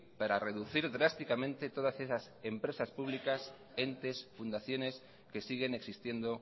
para reducir drásticamente todas esas empresas públicas entes fundaciones que siguen existiendo